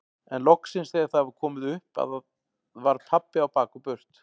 En loksins þegar það var komið upp að var pabbi á bak og burt.